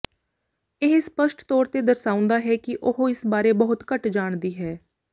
ਇਹ ਸਪੱਸ਼ਟ ਤੌਰ ਤੇ ਦਰਸਾਉਂਦਾ ਹੈ ਕਿ ਉਹ ਇਸ ਬਾਰੇ ਬਹੁਤ ਘੱਟ ਜਾਣਦੀ ਹੈ